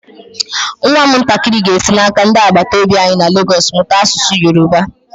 Nwam ntakịrị ga-esi n'aka ndị agbataobi anyi na Lagos mụta asụsụ Yorùbá.